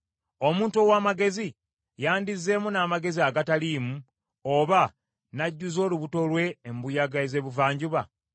“Omuntu ow’amagezi yandizzeemu n’amagezi agataliimu, oba n’ajjuza olubuto lwe embuyaga ez’ebuvanjuba?